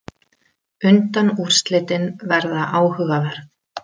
Undanúrslitin verða áhugaverð.